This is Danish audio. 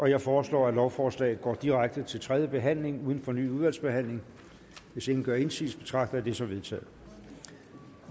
jeg foreslår at lovforslaget går direkte til tredje behandling uden fornyet udvalgsbehandling hvis ingen gør indsigelse betragter det som vedtaget